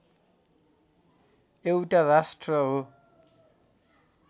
एउटा राष्ट्र हो